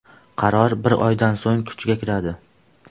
Qaror bir oydan so‘ng kuchga kiradi.